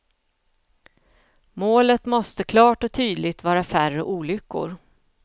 Målet måste klart och tydligt vara färre olyckor.